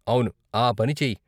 అవును, ఆ పని చెయ్యి.